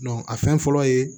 a fɛn fɔlɔ ye